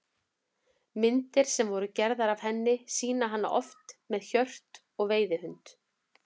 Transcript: Myndir sem voru gerðar af henni sýna hana oft með hjört og veiðihund.